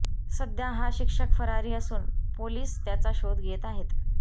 सध्या हा शिक्षक फरारी असून पोलिस त्याचा शोध घेत आहेत